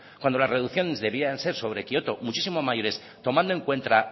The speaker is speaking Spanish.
cuando las reducciones debían de ser sobre kioto muchísimo mayores tomando en cuenta